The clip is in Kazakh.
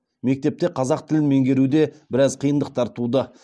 мектепте қазақ тілін меңгеруде біраз қиындықтар туды